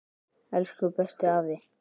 Elsku bestu afi.